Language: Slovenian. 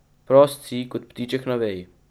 Prost si kot ptiček na veji.